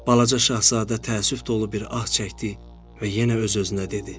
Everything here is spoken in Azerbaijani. Balaca Şahzadə təəssüf dolu bir ah çəkdi və yenə öz-özünə dedi: